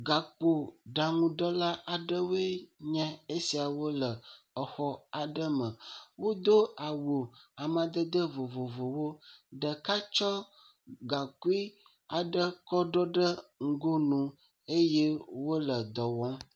Gaƒoɖaŋuɖela aɖewoe nye esiawo le exɔ aɖe me, wodo awu amadede vovovowo, ɖeka tsɔ gaŋkui aɖe kɔ ɖɔ ɖe ŋgonu eye wole dɔ wɔm.